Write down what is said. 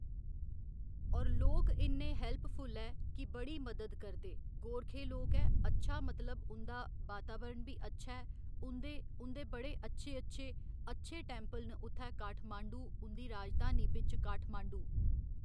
और लोक इन्ने हैल्पफुल ऐ कि बड़ी मदद करदे गोरखे लोक ऐ अच्छा मतलब उंदा वातावरण बी अच्छा ऐ उं'दे उं'दे बडे़ अच्छे अच्छे अच्छे टैंपल न उत्थै काठमाण्डु उंदी राजधानी बिच्च काठमाण्डु